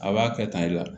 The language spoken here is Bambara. A b'a kɛ tan i la